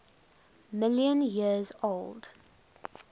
million years old